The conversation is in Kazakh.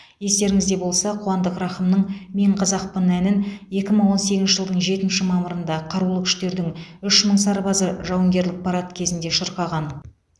естеріңізде болса қуандық рақымның мен қазақпын әнін екі мың он сегізінші жылдың жетінші мамырында қарулы күштердің үш мың сарбазы жауынгерлік парад кезінде шырқаған